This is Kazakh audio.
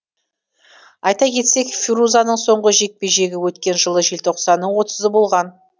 айта кетсек фирузаның соңғы жекпе жегі өткен жылы желтоқсанның отызы болған